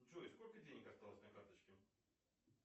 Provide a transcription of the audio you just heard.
джой сколько денег осталось на карточке